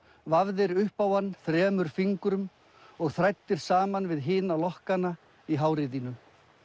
vafðir upp á hann þremur fingrum og þræddir saman við hina lokkana í hári þínu